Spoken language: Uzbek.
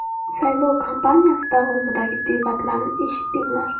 Saylov kampaniyasi davomidagi debatlarni eshitdinglar.